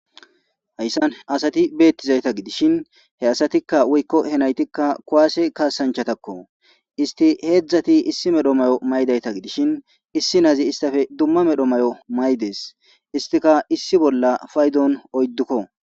hayssan asati beettizayta gidishin he asatikka woykko he naytikka kowaase kaasanchatakko isti heedzdzati issi medho mayo maydayta gidishin issi naazi istafe dumma medho mayo maydees istika issi bolla faydon oyddukko